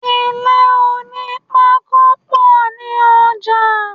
Ilé onípákó pọ̀ ní ọjà.